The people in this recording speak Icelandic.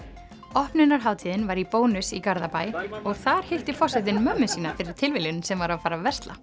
opnunarhátíðin var í Bónus í Garðabæ og þar hitti forsetinn móður sína fyrir tilviljun sem var að fara að versla